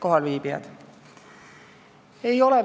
Kohalviibijad!